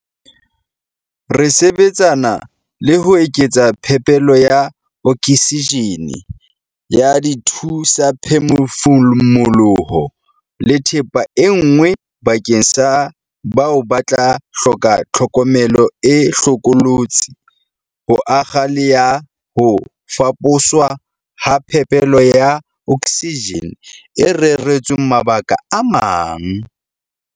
Re sebetsana le ho eketsa phepelo ya oksijene, ya dithu-saphefumoloho le thepa e nngwe bakeng sa bao ba tla hloka tlhokomelo e hlokolotsi, ho akga le ya ho faposwa ha phepelo ya oksijene e reretsweng mabaka a mang.